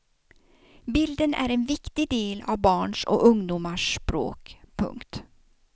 Bilden är en viktig del av barns och ungdomars språk. punkt